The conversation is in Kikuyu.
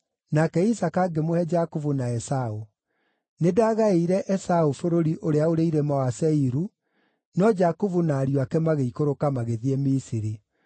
nake Isaaka ngĩmũhe Jakubu na Esaũ. Nĩndagaĩire Esaũ bũrũri ũrĩa ũrĩ irĩma wa Seiru, no Jakubu na ariũ ake magĩikũrũka magĩthiĩ Misiri.